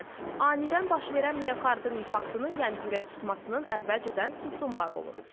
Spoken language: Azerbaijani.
Məsələn, anidən baş verən miokardın infarktının, yəni ürək tutmasının əvvəlcədən simptomları olur.